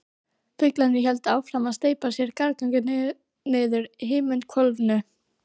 Fuglarnir héldu áfram að steypa sér gargandi niður úr himinhvolfinu.